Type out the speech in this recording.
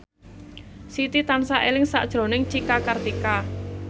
Siti tansah eling sakjroning Cika Kartika